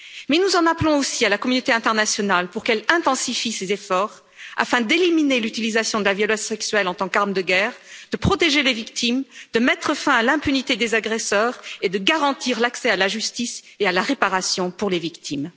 Mais nous en appelons aussi à la communauté internationale pour qu'elle intensifie ses efforts afin d'éliminer l'utilisation de la violence sexuelle en tant qu'arme de guerre, de protéger les victimes, de mettre fin à l'impunité des agresseurs et de garantir l'accès à la justice et à la réparation pour les victimes.